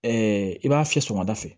i b'a fiyɛ sɔgɔmada fɛ